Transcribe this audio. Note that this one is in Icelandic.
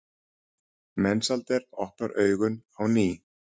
Mensalder opnar augun á ný.